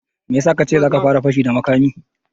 Me ya sa ka ce za ka fara fashi da makami